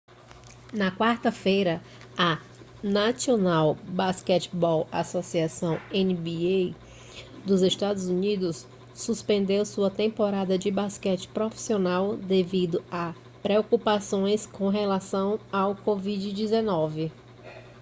na quarta-feira a national basketball association nba dos estados unidos suspendeu sua temporada de basquete profissional devido a preocupações com relação ao covid-19